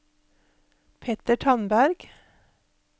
Petter Tandberg